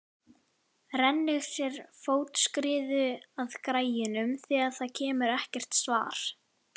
Rennir sér fótskriðu að græjunum þegar það kemur ekkert svar.